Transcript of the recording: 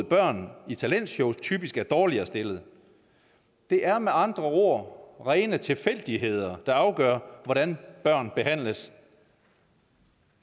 børn i talentshows typisk er dårligere stillet det er med andre ord rene tilfældigheder der afgør hvordan børn behandles